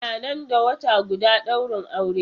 Ana nan da wata guda daurin aure.